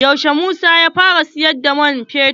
Yaushe Musa ya fara siyar da man fetur?